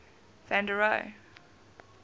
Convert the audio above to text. van der rohe